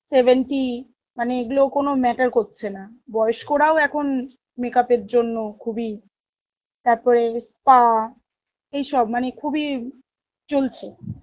seventy মানে এইগুলো কোনো matter করছে না, বয়েস্ক রাও এখন makeup এর জন্য খুব ই, তার পরে spa এই সব মানে খুব ই চলছে